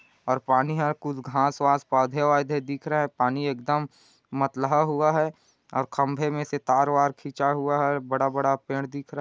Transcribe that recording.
और पानी है कुछ घाँस-वास पौधे-औधे दिख रहे है पानी एक दम मतलहा हुआ है और खम्बे में से तार-वार खिंचा हुआ है बड़ा-बड़ा पेड़ दिख रहा--